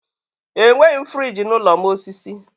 Enweghị m friji n'ụlọ m osisi.